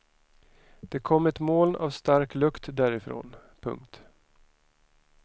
Det kom ett moln av stark lukt därifrån. punkt